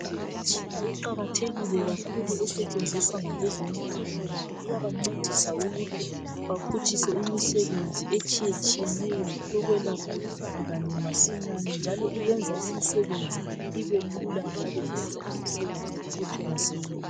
Imitshina iqakathekile kakhulu esetshenziswa ngabeze mpilo ngoba iyabancedisa ukuthi baphutshise imisebenzi etshiyetshiyeneyo. Yokwelapha izigulane masinyane. .Njalo yenza imisebenzi ibelula njalo yenza imisebenzi iqhutshwe masinya.